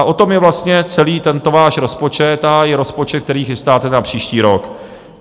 A o tom je vlastně celý tento váš rozpočet a i rozpočet, který chystáte na příští rok.